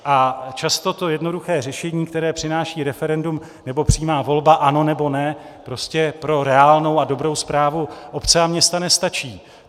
A často to jednoduché řešení, které přináší referendum nebo přímá volba ano, nebo ne, prostě pro reálnou a dobrou správu obce a města nestačí.